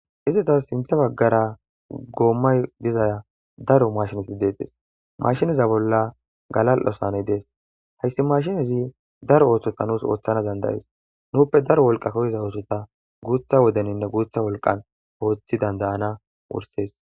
Izetas sintha bahgara goomay diza daro maashineti deetes ha maashineza bolla galal'o saaney dees hayssi maashinezi daro oothota nuus oothana danad'es nuupe daro wolqa koyiza oothota guutha wodeninne guutha wolqan oothi danda'ana oothes.